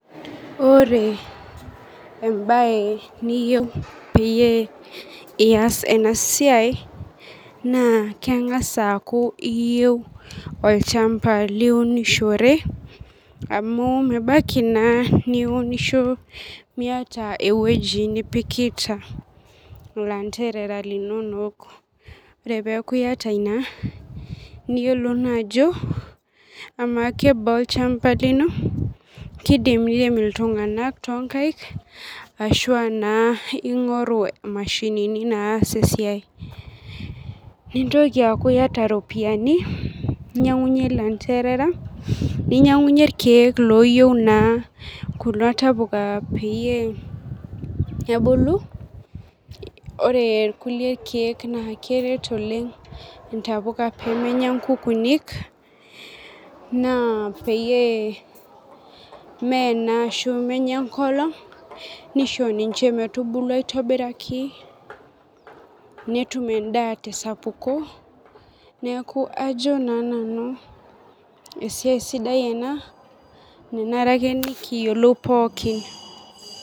Ore embae niyieu pias enasiai na kengasa aaku iyeu olchamba liunishore amu mebaki na niunisho miata ewueji nipikita landerea linonok ore peaku iyata ina niyolou na ajo ama kebaa olchamba lino kidim nerem ltunganak tonkaik ashu aa naa ingoru imashinini naas esiai nintoki aaku iyata ropiyani ninyangunyie rkiek ninyangunyie landerera loyieu naa kuna tapuka pebulu ore kulie kiek na keret oleng ntapuka pemenya nkukunik, na pemenya enkolong nisho ninch metubulu aitobiraki netum endaa tesapuko neaku ajo nane esiai sidai ena nanare nikiyolou pookin.